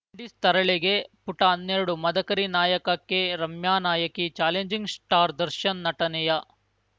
Windies ತರಲೆಗೆ ಪುಟ ಹನ್ನೆರಡು ಮದಕರಿ ನಾಯಕಕ್ಕೆ ರಮ್ಯಾ ನಾಯಕಿ ಚಾಲೆಂಜಿಂಗ್‌ ಸ್ಟಾರ್‌ ದರ್ಶನ್‌ ನಟನೆಯ